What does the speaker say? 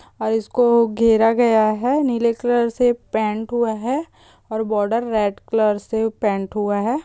और इसको घेरा गया है नीले कलर से पेंट हुआ है और बॉडर रेड कलर से पेंट हुआ है।